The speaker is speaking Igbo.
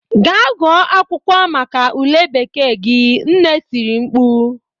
"Gaa gụọ akwụkwọ maka ule bekee gị'' nne tiri mkpu